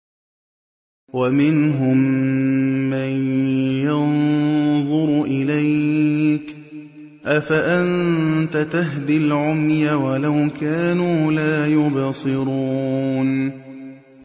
وَمِنْهُم مَّن يَنظُرُ إِلَيْكَ ۚ أَفَأَنتَ تَهْدِي الْعُمْيَ وَلَوْ كَانُوا لَا يُبْصِرُونَ